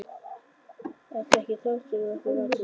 Ert það ekki þú sem ert að rannsaka.